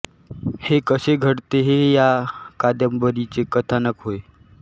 हे कसे घडते हे ह्या कादंबरीचे कथानक होय